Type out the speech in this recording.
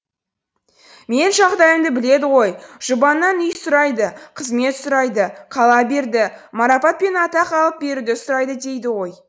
менің жағдайымды біледі ғой жұбаннан үй сұрайды қызмет сұрайды қала берді марапат пен атақ алып беруді сұрайды дейді ғой